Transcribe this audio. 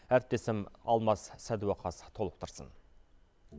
әріптесім алмас сәдуақас толықтырсын